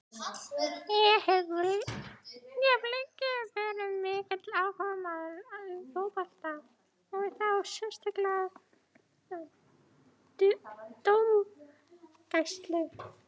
Ég hef lengi verið mikill áhugamaður um fótbolta og þá sérstaklega dómgæslu.